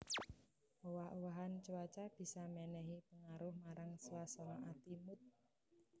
Owah owahan cuaca bisa mènèhi pangaruh marang swasana ati mood